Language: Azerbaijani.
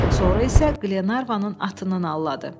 Sonra isə Qlenarvanın atını alladı.